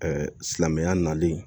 silamɛya nalen